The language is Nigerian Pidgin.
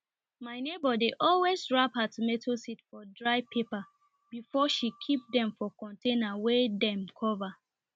my neighbour dey always wrap her tomato seed for dry paper before she keep dem for container wey dem cover